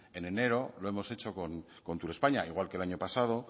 en enero lo hemos hecho con turespaña igual que el año pasado